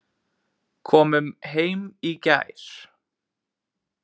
Komum heim í gær.